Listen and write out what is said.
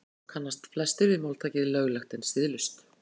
Og svo kannast flestir við máltækið löglegt en siðlaust.